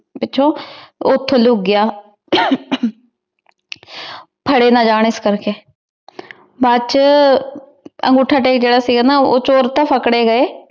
ਪਿਛੋਂ ਓਥੇ ਲੁਕ ਗਯਾ ਫਾਰੇ ਨਾ ਜਾਂ ਏਸ ਕਰ ਕੇ ਬਾਅਦ ਚ ਅਨ੍ਗੋਥਾ ਟੇਕ ਤਾਂ ਜੇਰਾ ਸੀਗਾ ਊ ਚੋਰ ਤਾਂ ਪਕਰੇ ਗਾਯ